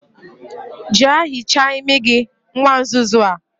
Jea hichaa imi gi, nwa nzuzu a